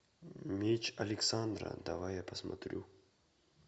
меч александра давай я посмотрю